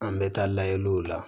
An bɛ taa layɛliw la